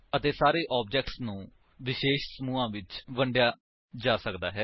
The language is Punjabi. ਅਤੇ ਸਾਰੇ ਆਬਜੇਕਟਸ ਨੂੰ ਵਿਸ਼ੇਸ਼ ਸਮੁਹਾਂ ਵਿੱਚ ਵਰਗੀਕ੍ਰਿਤ ਕੀਤਾ ਜਾ ਸਕਦਾ ਹੈ